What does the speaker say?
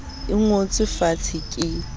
e ngotswe fatshe ke le